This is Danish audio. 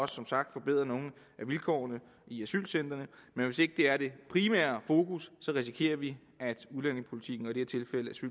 som sagt forbedret nogle af vilkårene i asylcentrene men hvis ikke det er det primære fokus risikerer vi at udlændingepolitikken og